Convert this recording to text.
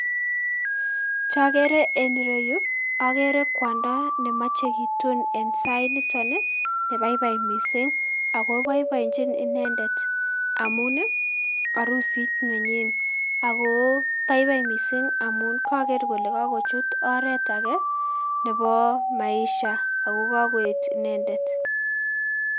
chogere eng ireyuu agere kwondo nemoche kitun en sait niton ih nebaibai missing akoboiboinjin inendet amun ih arusit nenyin. Akobaibai missing amun koker kole kakochut oret ake nebo maisha ako kakoyet inendet